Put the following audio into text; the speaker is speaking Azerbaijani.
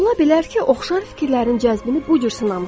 Ola bilər ki, oxşar fikirlərin cəzbini bu cür sınamısınız.